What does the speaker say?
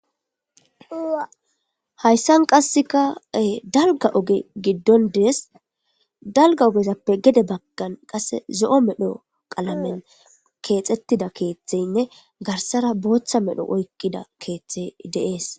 hayssan qasseka dalga oge giddon dees dalga ogezappe gede baggan qasse zo7o medho qalamen keexettida keeththeynne garsara booththa medho oykkida keeththey deees